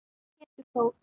Pétur Þór.